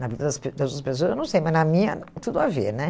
Na vida das pes das outras pessoas, eu não sei, mas na minha, tudo a ver, né?